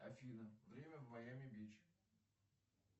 афина время в майами бич